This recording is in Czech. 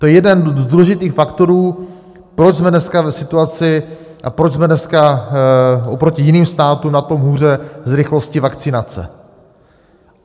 To je jeden z důležitých faktorů, proč jsme dneska v situaci a proč jsme dneska oproti jiným státům na tom hůře s rychlostí vakcinace.